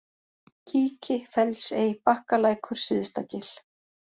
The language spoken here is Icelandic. Kíki, Fellsey, Bakkalækur, Syðstagil